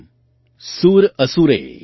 वन्दित दिव्य रूपम्